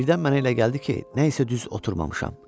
Birdən mənə elə gəldi ki, nəsə düz oturmamışam.